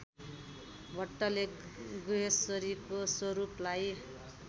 भट्टले गुह्यश्वरीको स्वरूपलाई